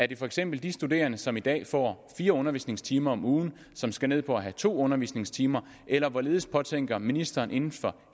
det for eksempel de studerende som i dag får fire undervisningstimer om ugen som skal ned på at have to undervisningstimer eller hvorledes påtænker ministeren inden for